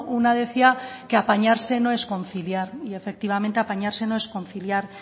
una decía que apañarse no es conciliar y efectivamente apañarse no es conciliar